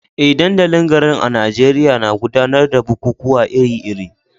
Eh, dandalin garin a Najeriya na gudanar da bukukuwa iri-iri